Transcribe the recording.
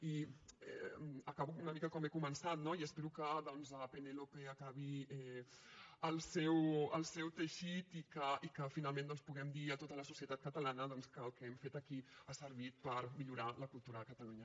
i acabo una mica com he començat no i espero que penélope acabi el seu teixit i que finalment doncs puguem dir a tota la societat catalana que el que hem fet aquí ha servit per millorar la cultura a catalunya